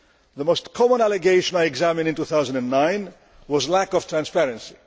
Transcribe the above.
The most common allegation I examined in 2009 was lack of transparency.